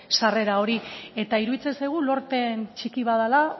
sarrera hori eta iruditzen zaigu lorpen txiki bat dela